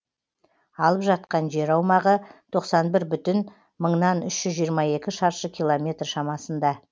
алып жатқан жер аумағы тоқсан бір бүтін мыңнан үш жүз жиырма екі шаршы километр шамасында